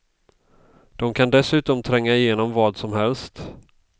De kan dessutom tränga igenom vad som helst.